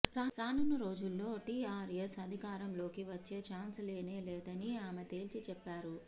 రానున్న రోజుల్లో టిఆర్ఎస్ అధికారంలోకి వచ్చే చాన్స్ లేనే లేదని ఆమె తేల్చి చెప్పారు